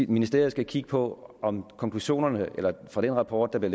ministeriet skal kigge på om konklusionerne fra den rapport der blev